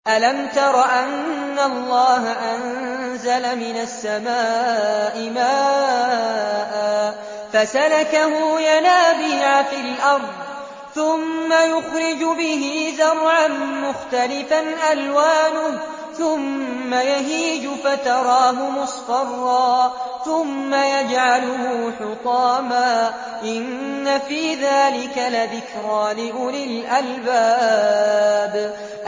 أَلَمْ تَرَ أَنَّ اللَّهَ أَنزَلَ مِنَ السَّمَاءِ مَاءً فَسَلَكَهُ يَنَابِيعَ فِي الْأَرْضِ ثُمَّ يُخْرِجُ بِهِ زَرْعًا مُّخْتَلِفًا أَلْوَانُهُ ثُمَّ يَهِيجُ فَتَرَاهُ مُصْفَرًّا ثُمَّ يَجْعَلُهُ حُطَامًا ۚ إِنَّ فِي ذَٰلِكَ لَذِكْرَىٰ لِأُولِي الْأَلْبَابِ